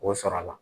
K'o sɔrɔ a la